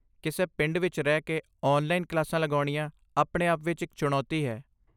ਕਿਸੇ ਪਿੰਡ ਵਿੱਚ ਰਹਿ ਕੇ ਔਨਲਾਈਨ ਕਲਾਸਾਂ ਲੱਗਾਉਣੀਆਂ ਆਪਣੇ ਆਪ ਵਿੱਚ ਇੱਕ ਚੁਣੌਤੀ ਹੈ।